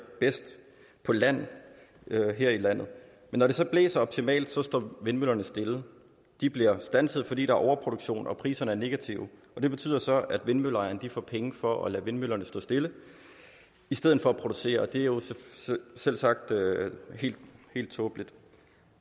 bedst på land her i landet men når det så blæser optimalt står vindmøllerne stille de bliver standset fordi en overproduktion og priserne er negative og det betyder så at vindmølleejerne får penge for at lade vindmøllerne stå stille i stedet for at producere og det er jo selvsagt helt tåbeligt